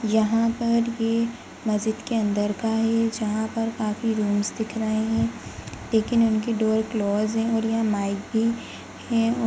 यहां पर ये मस्जिद के अंदर का है जहां पर काफी रूम्स दिख रहे है लेकिन उनकी डोर क्लोज़ है और यह माइक भी है और --)>